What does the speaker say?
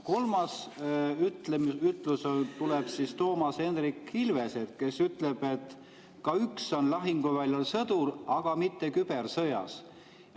Kolmas ütlus tuleb Toomas Hendrik Ilveselt, kes ütleb, et ka üks on lahinguväljal sõdur, aga mitte kübersõjas.